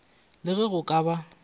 le ge go ka ba